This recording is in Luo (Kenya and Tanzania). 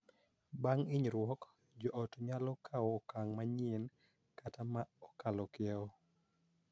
Bang� hinyruok, jo ot nyalo kawo okang� manyien kata ma okalo kiewo